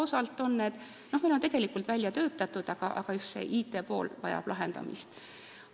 Praegu on need juba tegelikult välja töötatud, aga just IT-pool vajab lahendamist.